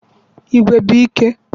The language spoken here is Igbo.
Igwe bụ ike